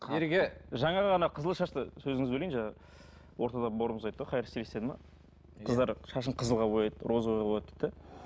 ереке жаңа ғана қызыл шашты сөзіңізді бөлейін жаңа ортада бауырымыз айтты ғой хайр стилист деді ме қыздар шашын қызылға бояды розовыйға бояиды дейді де